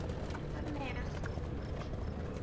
Hann var með